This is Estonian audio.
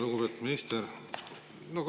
Lugupeetud minister!